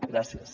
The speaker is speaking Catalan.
gràcies